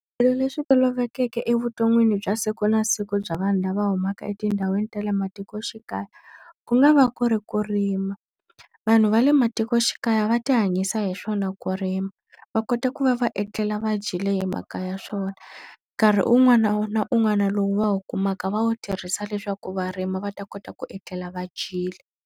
Swilo leswi tolovelekeke evuton'wini bya siku na siku bya vanhu lava humaka etindhawini ta le matikoxikaya, ku nga va ku ri ku rima. Vanhu va le matikoxikaya va ti hanyisa hi swona ku rima, va kota ku va va etlela va dyile hi mhaka ya swona. Nkarhi un'wana na un'wana lowu va wu kumaka va wu tirhisa leswaku varimi va ta kota ku etlela va dyile.